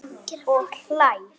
Og hlær.